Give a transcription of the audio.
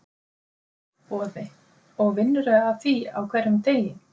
Boði: Og vinnurðu að því á hverjum degi?